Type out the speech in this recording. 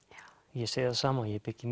ég segi það sama ég byggi